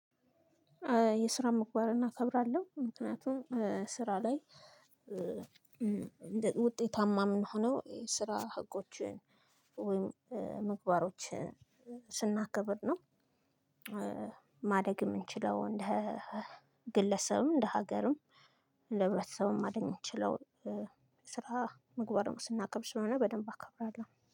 የስራ ምግባርን አከብራለሁ ምክንያቱም ስራ ላይ ውጤታማ እምንሆነው የስራ ህጎችን ወይም ምግባሮችን ስናከብር ነው። ማደግ እምንችለው እንደ ግለሰብም እንደ ሀገርም ሰውን ማዳን እምንችለው። ስራ ምግባርን ስናከብር ስለሆነ በደንብ አከብራለሁ